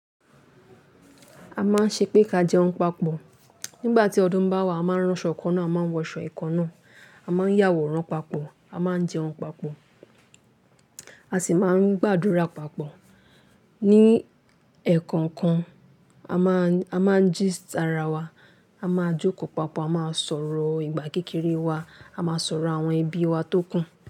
A máa ń ṣépè ká jẹun papọ̀. Nígbà tí ọdún ń bá wá, a máa ń ránṣọ ìkáná, a máa ń wọṣọ ìkáná, a máa ń yàwòrán papọ̀, a máa ń jẹun papọ̀, a sì máa ń gbàdúrà papọ̀. Ni ẹ̀ẹ̀kọ̀kan, a máa ń gist ara wa, a máa jókòó papọ̀, a máa sọ̀rọ̀ ìgbà kékeré wa, a máa sọ̀rọ̀ àwọn ẹbí wa tó kù.